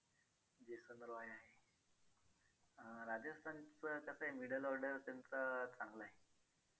अं राजस्थानच कसं आहे middle order असेल तर चांगलं आहे.